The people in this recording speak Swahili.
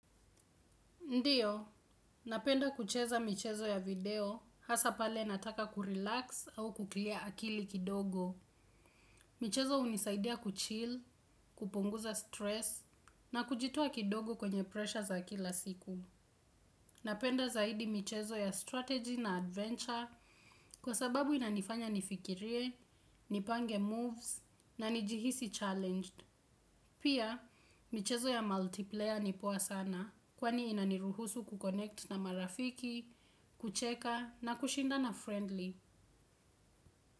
Ndiyo, napenda kucheza michezo ya video hasa pale nataka kurelax au kuclear akili kidogo. Michezo hunisaidia kuchill, kupunguza stress na kujitoa kidogo kwenye pressure za kila siku. Napenda zaidi michezo ya strategy na adventure kwa sababu inanifanya nifikirie nipange moves na nijihisi challenged. Pia, michezo ya multiplayer ni poa sana, kwani inaniruhusu kuconnect na marafiki, kucheka na kushindana friendly.